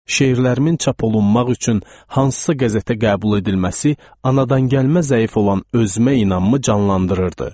Şeirlərimin çap olunmaq üçün hansısa qəzetə qəbul edilməsi anadangəlmə zəif olan özümə inamı canlandırırdı.